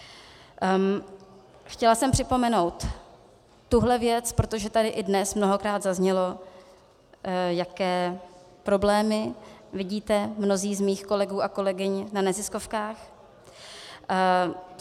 Chtěla jsem připomenout tuhle věc, protože tady i dnes mnohokrát zaznělo, jaké problémy vidíte mnozí z mých kolegů a kolegyň na neziskovkách.